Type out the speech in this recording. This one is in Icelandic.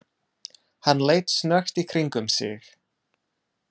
Hann leit snöggt í kringum sig.